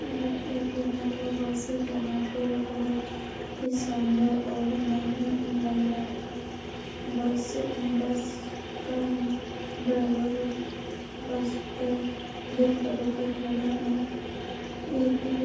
यह एक भलवा बस हैं जहाँ पर बहोत ही शानदार और नयी लग रहा हैं बस बस का ड्राईवर बस का गेट पकड़ के खड़े हैं एक ये --